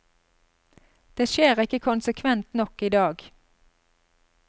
Det skjer ikke konsekvent nok i dag.